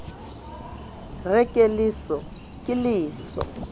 re ke leso ke leso